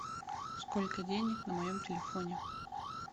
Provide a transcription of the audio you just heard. сколько денег на моем телефоне